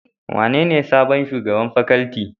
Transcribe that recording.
Wanene sabon shugaban Paculty?